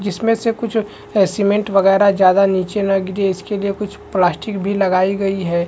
जिसमे से कुछ सिमेन्ट वगैरा ज्यादा निचे न गिरे इसके लिए कुछ प्लास्टिक भी लगाई गयी है।